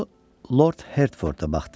O Lord Hertforda baxdı.